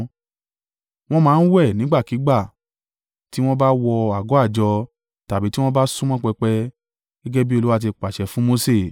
Wọ́n máa ń wẹ̀ nígbàkígbà tí wọ́n bá wọ àgọ́ àjọ tàbí tí wọ́n bá súnmọ́ pẹpẹ, gẹ́gẹ́ bí Olúwa ti pàṣẹ fún Mose.